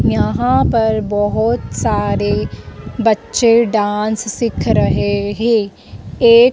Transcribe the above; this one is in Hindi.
यहां पर बहोत सारे बच्चे डांस सिख रहे है एक--